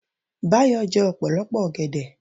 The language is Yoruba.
Báyọ̀ jẹ́ ọ̀pọ̀lọpọ̀ ọgẹ̀dẹ̀